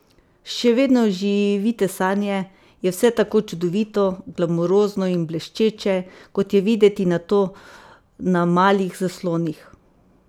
Še vedno živite sanje, je vse tako čudovito, glamurozno in bleščeče, kot je videti nato na malih zaslonih?